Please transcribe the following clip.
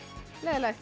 leiðinlegt